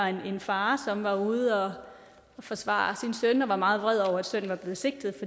er en far som har været ude og forsvare sin søn og er meget vred over at sønnen er blevet sigtet